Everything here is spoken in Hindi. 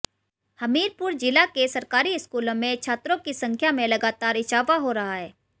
हमीरपुर जिला के सरकारी स्कूलों में छात्रों की संख्या में लगातार इजाफा हो रहा है